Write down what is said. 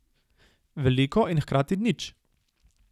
Veliko in hkrati nič.